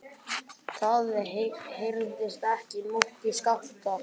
Það heyrðist ekki múkk í Skapta.